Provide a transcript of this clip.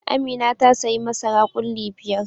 Amina ta sayi masara ƙulli biyar.